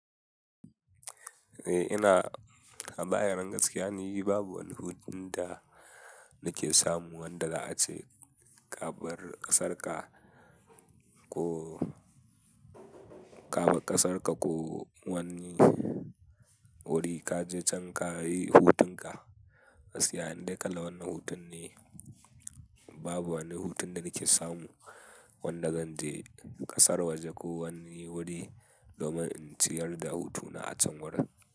Eh ina, a bayyanan gaskiya ne, babu wani hutun da nake samu wanda za ace ka bar ƙasar ka ko ka bar ƙasar ka ko wani wuri ka je can ka yi hutun ka. Gaskiya inda kalla wannan hutun ne, babu wani hutun da nake samu wanda zan je ƙasar waje ko wani wuri domin in ciyar da hutuna a can wurin.